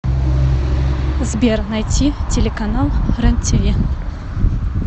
сбер найти телеканал рен тиви